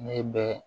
Ne bɛ